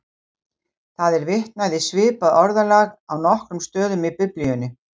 Það er vitnað í svipað orðalag á nokkrum stöðum í Biblíunni.